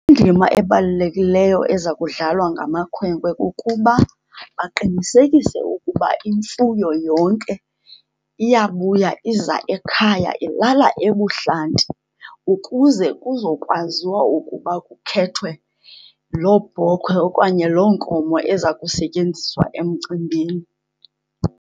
Indima ebalulekileyo eza kudlalwa ngamakhwenkwe kukuba baqinisekise ukuba imfuyo yonke iyabuya iza ekhaya, ilala ebuhlanti ukuze kuzokwaziwa ukuba kukhethwe loo bhokhwe okanye loo nkomo eza kusetyenziswa emcimbini.